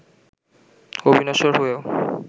অবিনশ্বর হয়েও